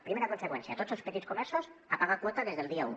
primera conseqüència tots els petits comerços a pagar quota des del dia u